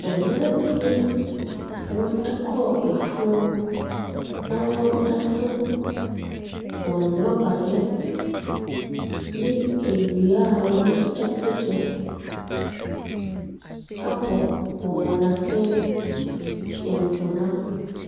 Mmaa bi a wɔkɔɔ afuom na wɔso wɔn nnɔbaeɛ ne nnua a wɔde sɔ gya abɔ wɔ wɔn asene ntoma.